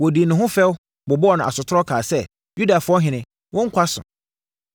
Wɔdii ne ho fɛw, bobɔɔ no asotorɔ, kaa sɛ, “Yudafoɔ ɔhene, wo nkwa so!”